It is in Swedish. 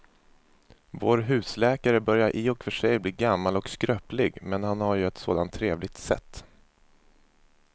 Vår husläkare börjar i och för sig bli gammal och skröplig, men han har ju ett sådant trevligt sätt!